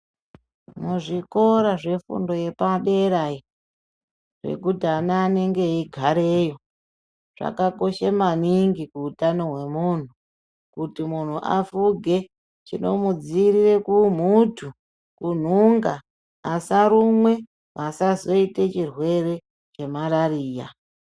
Muzvikora zvefundo yepadera iyo yekuti ana anenge eigareyo zvakakosha maningi kuutano hwemuntu kutu muntu afuge chinomuudzivirira kuumhutu, kunhunga asarumwe asazoite chirwere chemalaria.